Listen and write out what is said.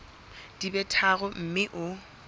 di be tharo mme o